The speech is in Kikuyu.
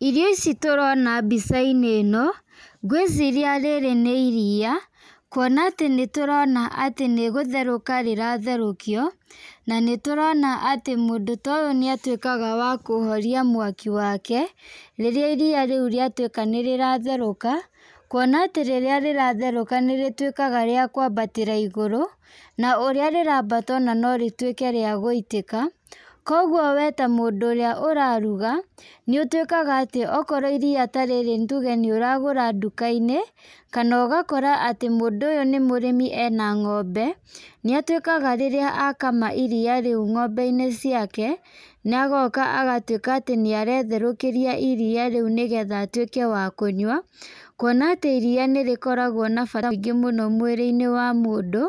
Irio ici tũrona mbica-inĩ ĩno , ngwĩciria rĩrĩ nĩ iria, kuona atĩ nĩgũtherũkio rĩratherũkio, na nĩ tũrona atĩ mũndũ ta ũyũ nĩ atwĩkaga wa kũhoria mwaki wake, rĩrĩa iria rĩu nĩrĩatwĩka nĩ rĩratherũka, kuona atĩ rĩrĩa rĩratherũka nĩrĩtwĩkaga rĩa kwambatĩra na igũrũ, na ũrĩa rĩrabata no rĩtwĩke rĩa kũitĩka, kũgwo we ta mũndũ ũrĩa ũraruga, nĩ ũtwĩkaga atĩ, okorwo iria ta rĩrĩ nĩ ũragũra nduka-inĩ, kana ũgakora atĩ mũndũ ũyũ nĩ mũrĩmi ena ngombe, nĩ atwĩkaga rĩrĩa akama iria rĩu ngombe-inĩ ciake, na agoka agatwĩka atĩ nĩ aretherũkĩria iria rĩu nĩgetha atwĩke wa kũnyua, kuona atĩ iria nĩrĩkoragwo na bata mũingĩ thĩiniĩ wa mwĩrĩ-inĩ wa mũndũ,